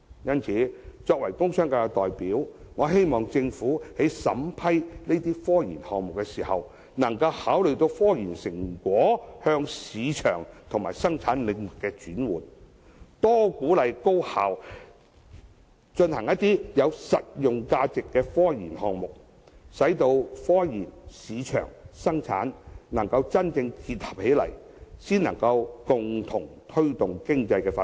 因此，作為工商界的代表，我希望政府在審批科研項目時，能考慮科研成果向市場和生產領域的轉換，多鼓勵高校進行有實用價值的科研項目，使科研、市場和生產能真正結合，共同推動經濟發展。